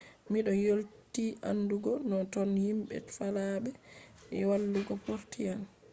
mi do weylti andugo no ton himɓe faalaɓe wallugo portuan